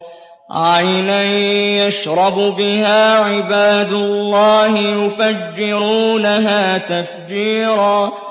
عَيْنًا يَشْرَبُ بِهَا عِبَادُ اللَّهِ يُفَجِّرُونَهَا تَفْجِيرًا